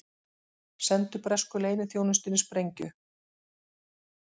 Sendu bresku leyniþjónustunni sprengju